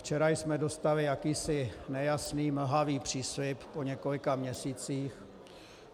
Včera jsme dostali jakýsi nejasný, mlhavý příslib po několika měsících...